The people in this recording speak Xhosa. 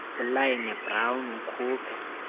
ulynne brown ukhuphe